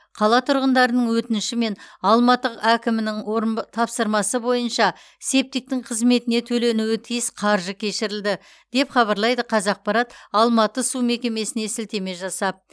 қала тұрғындарының өтініші мен алматы әкімінің орынб тапсырмасы бойынша септиктің қызметіне төленуі тиіс қаржы кешірілді деп хабарлайды қазақпарат алматы су мекемесіне сілтеме жасап